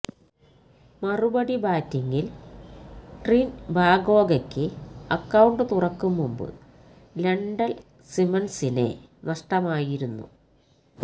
മറുപടി ബാറ്റിങില് ട്രിന്ബാഗോയ്ക്ക് അക്കൌണ്ട് തുറക്കും മുമ്പ് ലെന്ഡ്ല് സിമ്മണ്സിനെ നഷ്്ടമായിരുന്നു